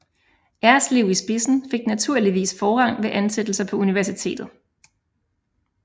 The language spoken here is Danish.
Erslev i spidsen fik naturligvis forrang ved ansættelser på universitetet